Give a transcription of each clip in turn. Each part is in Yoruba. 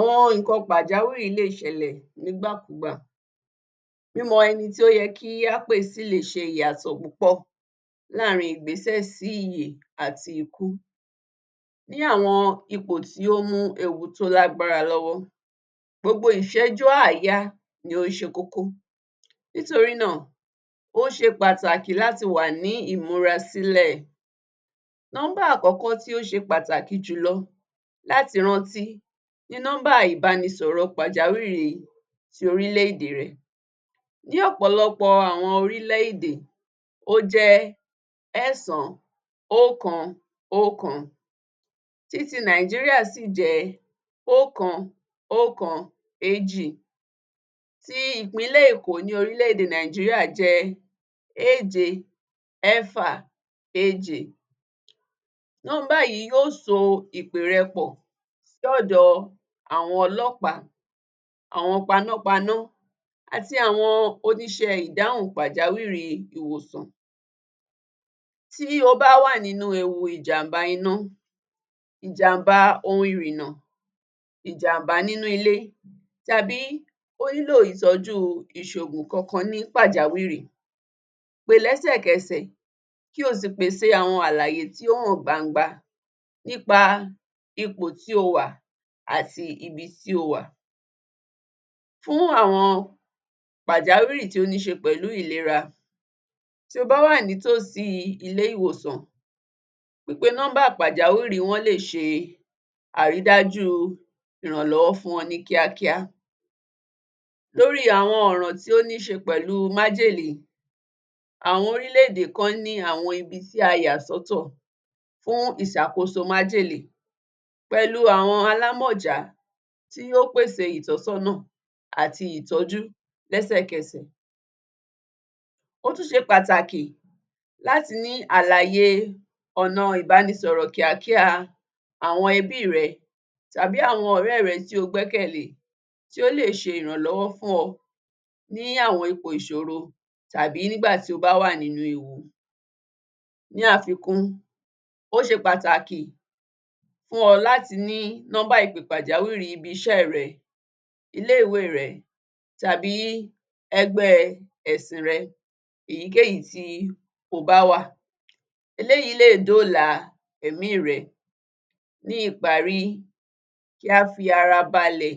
Àwọn nìkan pàjáwìrì lè ṣẹlẹ̀ nígbàkúgbà, mímọ ẹni tí ó yẹ kí á pè sí lè ṣe ìyàtọ̀ púpọ̀ láàrín ìgbésẹ̀ sí ìyè àti ikú bí àwọn ipò tí ó mú ewu tó lágbára lọ́wọ́ gbogbo ìsẹ́jú àáyá ni ó ṣẹ kókó nítorínà ó ṣe pàtàkì láti wà ní ìmúrasílẹ̀, number àkọ́kọ́ tó ṣẹ pàtàkì jùlọ láti rántí ni number ìbánisọ̀rọ̀ pàjáwìrì ti orílẹ̀- èdè rẹ. Ní ọ̀pọ̀lọpọ̀ àwọn orílẹ̀-èdè ó jẹ́ 911 titi nàíjíríà 112, ti ìpínlẹ̀ èkò ní orílẹ̀-èdè nàíjíríà jẹ́ 767, number yìí yóò so ìpè rẹ pọ̀ dé ọ̀dọ̀ àwọn ọlọ́pàá, àwọn panápaná àti àwọn oníṣẹ́ ìdáhùn pàjáwìrì ìwòsàn, tí o bá wà nínú ewu ìjàmbá iná, ìjàmbá ohun ìrìnnà, ìjàmbá nínú ilé tàbí ó ní lò ìtọ̀jù ìṣògùn kan kan ní pàjawìrì pè lẹ́sẹ̀kẹsẹ̀ kí o sì pèsè àwọn àlàyé tó hàn gbangba nípa ipò tí o wà àti ibi tí o wà. Fún àwọn pàjáwìrì tó ní ṣe pẹ̀lú ìlera tí o bá wà ní tòsí ilé ìwòsàn pípe number pàjáwìrì wọn lè ṣe àrídájú ìrànlọ́wọ́ fún ọ ní kíákíá, lórí àwọn ọ̀rọ̀ tó ní ṣe pẹ̀lú májèlé, àwọn orílẹ̀-èdè kan ní àwọn ibi tí a yà sọ́ tọ̀ fún ìsàkóso májèlé pẹ̀lu àwọn alámọ̀já tí yó pè sè ìtọ́sọ́nà àti ìtọ́jú lẹ́sẹ̀kẹsẹ̀, ó tún ṣe pàtàkì láti ní àlàyé ọ̀nà ìbánisọ̀rọ̀ kíákíá àwọn ẹbí rẹ tàbí àwọn ọ̀rẹ́ rẹ tí o gbẹ́kẹ̀lé tí ó lè ṣe ìrànlọ́wọ́ fún ọ ní àwọn ipò ìsòro tàbi nígbà tí o bá wà nínú ewu. Ní àfikún, ó ṣe pàtàkì fún ọ láti ní number ìpè pàjáwìrì ibi-iṣẹ́ rẹ, ilé-ìwé rẹ tàbí ẹgbẹ́ ẹ̀sìn rẹ, ìyíkéyíì tí o bá wà, eléèyí lè dóòlà ẹ̀mí rẹ, ní ìparí, kí á fi ara balẹ̀,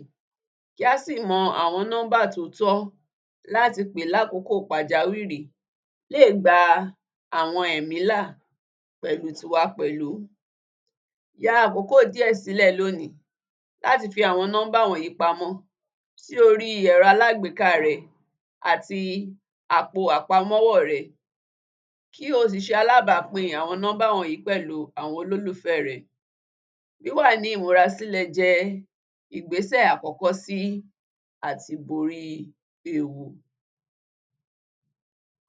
kí á sì mọ àwọn number tó tọ́ láti pè lákòókò pàjáwìrì lé gba àwọn ẹ̀mí là pẹ̀lu tiwa pẹ̀lú.Ya àkókò díè sílẹ̀ lóòní láti fi àwọn number wọ̀nyí pamọ́ sí orí ẹ̀rọ alágbéká rẹ àti àpò àpamọ́wọ́ rẹ, kí o sì ṣe alábápín àwọn number wọ̀nyí pẹ̀lú àwọn olúlùfẹ́ rẹ, wíwà ní ìmúra sílẹ̀ jẹ́ ìgbésẹ̀ àkọ́kọ́ sí àtiborí ewu.